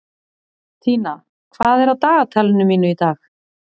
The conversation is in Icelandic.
Tína, hvað er á dagatalinu mínu í dag?